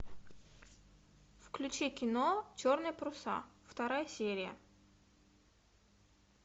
включи кино черные паруса вторая серия